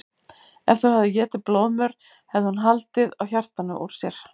Ef þú hefðir étið blóðmör hefði hún haldið á hjartanu úr sér.